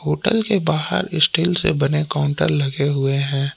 Hotel के बाहर steel से बने काउंटर लगे हुए हैं।